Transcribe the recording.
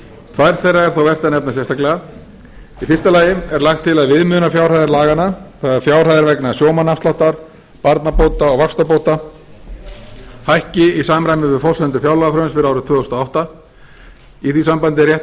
tvær þeirra er þó vert að nefna sérstaklega í fyrsta lagi er lagt til að viðmiðunarfjárhæðir laganna það er fjárhæðir vegna sjómannaafsláttar barnabóta og vaxtabóta hækki í samræmi við forsendur fjárlagafrumvarps fyrir árið tvö þúsund og átta í því sambandi er rétt